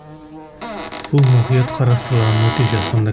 бұл мұқият қарастырылған өте жасанды